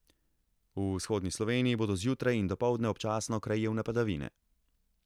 V vzhodni Sloveniji bodo zjutraj in dopoldne občasno krajevne padavine.